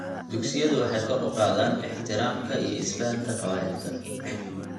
Dugsiyadu waxay kor u qaadaan ixtiraamka iyo isfahamka qabaa'ilka.